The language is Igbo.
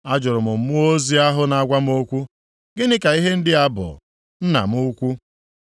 Ajụrụ m mmụọ ozi ahụ na-agwa m okwu, “Gịnị ka ihe ndị a bụ, nna m ukwu?”